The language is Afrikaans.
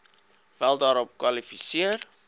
wel daarvoor kwalifiseer